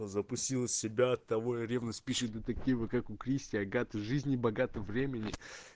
запустила себя от того и ревность пишет детективы как у кристи агаты жизни богато времени